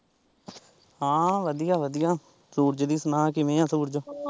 ਹਾਂ ਵਧੀਆ ਵਧੀਆ, ਸੂਰਜ ਦੀ ਸੁਣਾ ਕਿਵੇਂ ਐ ਸੂਰਜ।